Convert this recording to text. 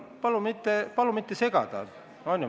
Palun mitte segada!